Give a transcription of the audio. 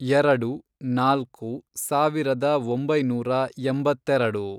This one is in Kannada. ಎರೆಡು, ನಾಲ್ಕು, ಸಾವಿರದ ಒಂಬೈನೂರ ಎಂಬತ್ತೆರೆಡು